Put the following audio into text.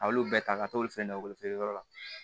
A y'olu bɛɛ ta ka t'olu fɛn dɔ weele yɔrɔ la